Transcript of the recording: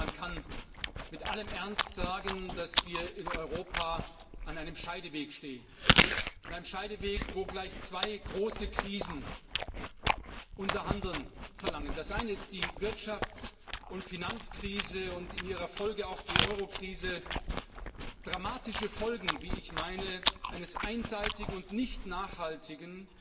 Ich glaube, man kann mit allem Ernst sagen, dass wir in Europa an einem Scheideweg stehen an einem Scheideweg, wo gleich zwei große Krisen unser Handeln erfordern. Das eine ist die Wirtschafts und Finanzkrise und in ihrer Folge auch die Euro Krise dramatische Folgen, wie ich meine, eines einseitigen und nicht nachhaltigen,